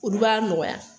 Olu b'a nɔgɔya